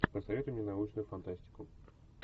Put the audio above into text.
посоветуй мне научную фантастику